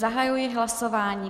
Zahajuji hlasování.